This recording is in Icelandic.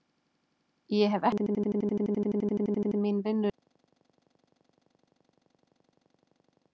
Systir mín vinnur í Utanríkisráðuneytinu.